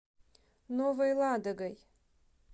новой ладогой